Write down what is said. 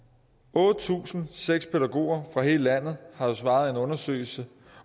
otte tusind seks pædagoger fra hele landet har svaret i en undersøgelse